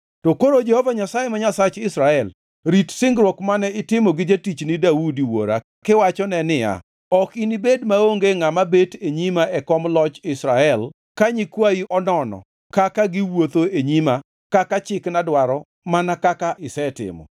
“To koro Jehova Nyasaye ma Nyasach Israel rit singruok mane itimo gi jatichni Daudi wuora kiwachone niya, ‘Ok inibed maonge ngʼama bet e nyima e kom loch Israel ka nyikwayi onono kaka giwuotho e nyima kaka chikna dwaro mana kaka isetimo.’